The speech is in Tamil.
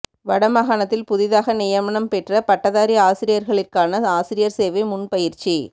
வட மாகாணத்தில் புதிதாக நியமனம் பெற்ற பட்டதாரி ஆசிரியர்களிற்கான ஆசிரியர் சேவை முன் பயிற்சி